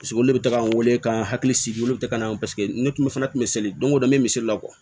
Paseke olu bɛ taga n wele k'an hakili sigi olu bɛ taga na ye paseke ne tun bɛ fana misali don o don n bɛ misali la